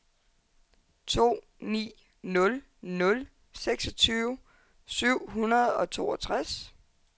to ni nul nul seksogtyve syv hundrede og toogtres